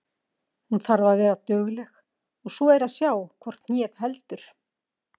Hún þarf að vera dugleg og svo er að sjá hvort hnéð heldur.